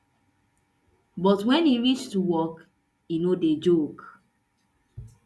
but wen e reach to work e no dey joke